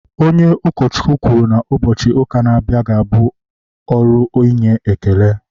onye ụkọchukwu kwuru na, ụbọchị ụka na-abịa ga-abụ ọrụ inye ekele